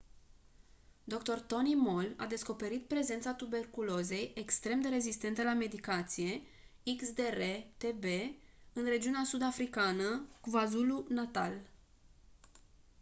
dr. tony moll a descoperit prezența tuberculozei extrem de rezistente la medicație xdr-tb în regiunea sud-africană kwazulu-natal